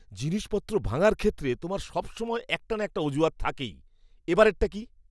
জিনিসপত্র ভাঙার ক্ষেত্রে তোমার সবসময় একটা না একটা অজুহাত থাকেই। এবারেরটা কী?